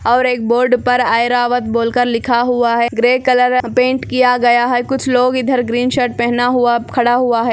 और एक बोर्ड पर ऐरावत बोलकर लिखा हुआ है ग्रे कलर पेंट किया गया है कुछ लोग इधर ग्रीन शर्ट पहना हुआ खड़ा हुआ हैं।